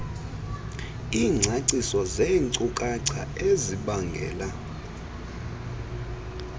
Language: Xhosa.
iingcaciso zeenkcukacha ezibangela